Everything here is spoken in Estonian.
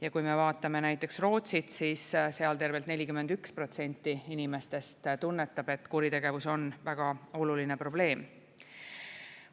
Ja kui me vaatame näiteks Rootsit, siis seal tervelt 41% inimestest tunnetab, et kuritegevus on väga oluline probleem.